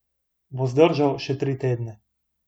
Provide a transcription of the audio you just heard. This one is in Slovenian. Bo zdržal še tri tedne?